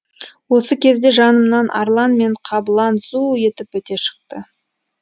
осы кезде жанымнан арлан мен қабылан зу етіп өте шықты